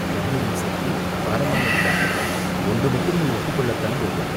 பெண்மையின் சக்தி அபாரமானதுதான், ஒன்று மட்டும் நீ ஒப்புக் கொள்ளத்தான் வேண்டும்